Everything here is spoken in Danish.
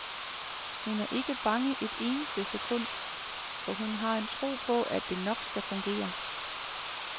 Hun er ikke bange et eneste sekund, for hun har en tro på, at det nok skal fungere.